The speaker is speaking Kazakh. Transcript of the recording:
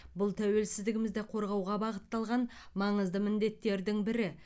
бұл тәуелсіздігімізді қорғауға бағытталған маңызды міндеттердің бірі